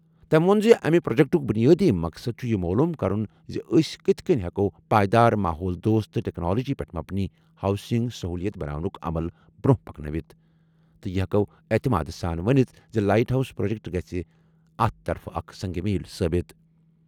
تیٚم وۄن زِ امہِ پروجیکٹُک بنیٲدی مقصد چُھ یہٕ معلوم کرُن زِ أسۍ کِتھ کٔنۍ ہیکو پائیدار ماحول دوست تہٕ ٹیکنالوجی پیٹھ مبنی ہاؤسنگ سہولت بناونُک عمل برونٛہہ پکنٲوِتھ تہٕ یہٕ ہیکو اعتماد سان ونِتھ زِ لائٹ ہاؤس پروجیکٹ گژھِ اتھ طرفہٕ اکھ سنگ میل ثٲبت۔